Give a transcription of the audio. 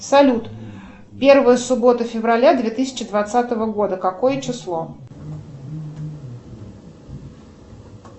салют первая суббота февраля две тысячи двадцатого года какое число